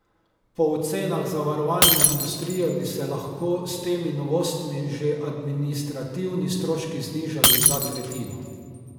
Po ocenah zavarovalne industrije bi se lahko s temi novostmi že administrativni stroški znižali za tretjino.